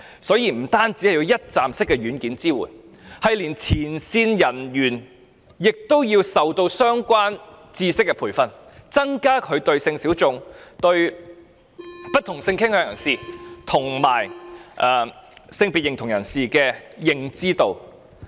所以，除了一站式的"軟件"支援之外，連前線人員亦需要接受相關的知識培訓，增加他們對性小眾、不同性傾向人士及不同性別認同人士的認知。